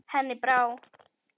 Henni brá.